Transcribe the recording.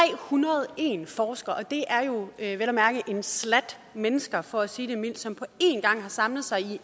hundrede og en forskere det er jo vel at mærke en slat mennesker for sige det mildt som på en gang har samlet sig